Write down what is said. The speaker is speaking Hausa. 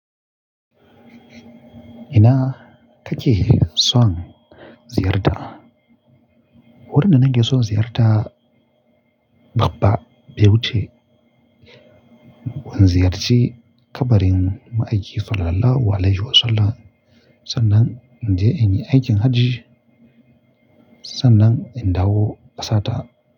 Ina take son ziyarta? Wurin da nake son ziyarta babba, bai wuce gun ziyarce kabarin ma'aikin sallalahu alaihi wassalam. Sannan inje yi aikin hajji, sannan in dawo ƙasa ta.